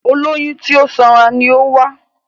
Olóyún tí ó sanra ni ó wá